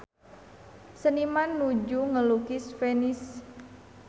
Seniman nuju ngalukis Venice